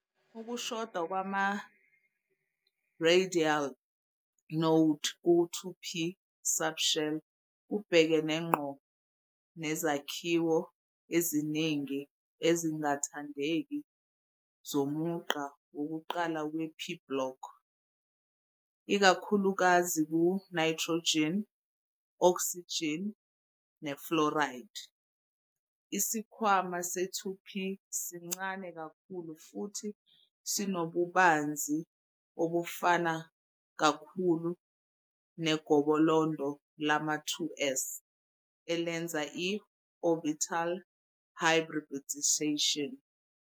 Ukushoda kwama-radial node ku-2p subshell kubhekene ngqo nezakhiwo eziningi ezingathandeki zomugqa wokuqala we-p-block, ikakhulukazi ku-nitrogen, oxygen, ne-fluorine. Isikhwama se-2p sincane kakhulu futhi sinobubanzi obufana kakhulu negobolondo lama-2s, elenza i-orbital hybridisation.